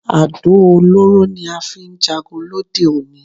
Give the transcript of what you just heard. Àdó olóró ni a fi ń jagun lóde òní